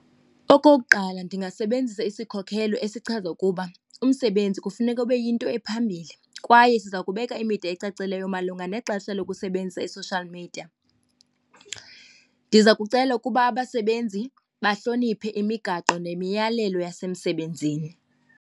Okokuqala ndingasebenzisa isikhokhelo esichaza ukuba umsebenzi kufuneka ube yinto ephambili kwaye siza kubeka imida ecacileyo malunga nexesha lokusebenzisa i-social media. Ndiza kucela ukuba abasebenzi bahloniphe imigaqo nemiyalelo yasemsebenzini.